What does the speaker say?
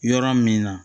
Yɔrɔ min na